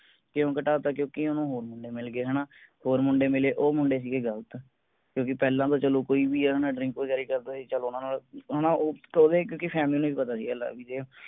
ਕਿਊ ਘਟਾ ਤਾ ਕਿਉਂਕਿ ਓਹਨੂੰ ਹੋਰ ਮੁੰਡੇ ਮਿਲ ਗਏ ਹੈਨਾ। ਹੋਰ ਮੁੰਡੇ ਮਿਲੇ ਉਹ ਮੁੰਡੇ ਸੀਗੇ ਗਲਤ ਕਿਉਂਕਿ ਪਹਿਲਾਂ ਤਾਂ ਚਲੋ ਕੋਈ ਵੀ ਆ drink ਵਗੈਰਾ ਹੀ ਕਰਦਾ ਸੀ, ਚਲ ਓਹਨਾ ਨਾਲ ਓਹਨਾ ਉਹ ਤੋਂ ਇਕ ਇਕ ਦੀ family ਨੂੰ ਵੀ ਪਤਾ ਸੀ ਲਾ ਡੀ ਜੇ ।